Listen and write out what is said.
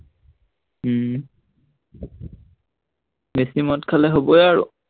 উম বেছি মদ খালে হবই আৰু।